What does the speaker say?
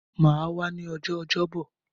Mà á wá ní ọjọ́ Ọjọ́bọ̀.